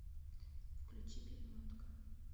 включи перемотка